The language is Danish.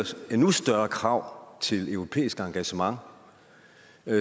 endnu større krav til europæisk engagement